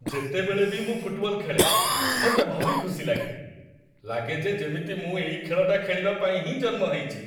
ଯେତେବେଳେ ବି ମୁଁ ଫୁଟବଲ ଖେଳେ, ମତେ ଭାରି ଖୁସି ଲାଗେ । ଲାଗେ ଯେ ଯେମିତି ମୁଁ ଏଇ ଖେଳଟା ଖେଳିବା ପାଇଁ ହିଁ ଜନ୍ମ ହେଇଚି ।